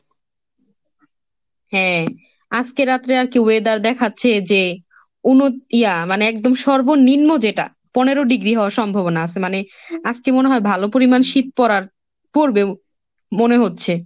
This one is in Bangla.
হ্যাঁ, আজকে রাত্রে আর কি weather দেখাচ্ছে যে অনু ইয়া মানে একদম সর্বনিম্ন যেটা পনেরো degree হওয়ার সম্ভাবনা আছে, মানে আজকে মনে হয় ভালো পরিমান শীত পড়ার পড়বেও ম~ মনে হচ্ছে।